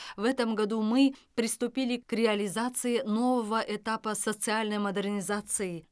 в этом году мы приступили к реализации нового этапа социальной модернизации